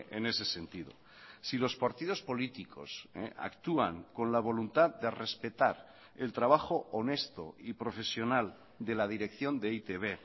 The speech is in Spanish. en ese sentido si los partidos políticos actúan con la voluntad de respetar el trabajo honesto y profesional de la dirección de e i te be